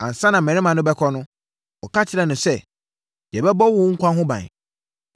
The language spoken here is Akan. Ansa na mmarima no bɛkɔ no, wɔka kyerɛɛ no sɛ, “Yɛbɛbɔ mo nkwa ho ban